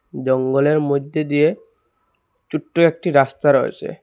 জঙ্গলের মইধ্যে দিয়ে ছোট্ট একটি রাস্তা রয়েসে ।